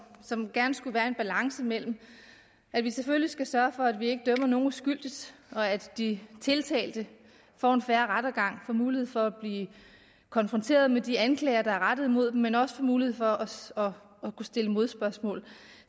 som gerne skulle være en balance mellem at vi selvfølgelig skal sørge for at vi ikke dømmer nogen uskyldigt at de tiltalte får en fair rettergang får mulighed for at blive konfronteret med de anklager der er rettet mod dem men de også får mulighed for at kunne stille modspørgsmål